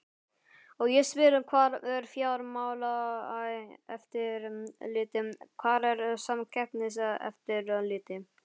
Og ég spyr hvar er Fjármálaeftirlitið, hvar er Samkeppniseftirlitið?